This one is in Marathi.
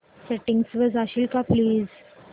सेटिंग्स वर जाशील का प्लीज